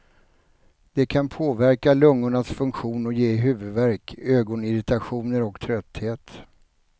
Det kan påverka lungornas funktion och ge huvudvärk, ögonirritationer och trötthet.